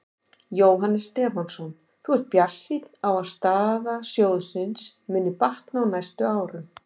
Jóhannes Stefánsson: Þú ert bjartsýnn á að staða sjóðsins muni batna á næstu árum?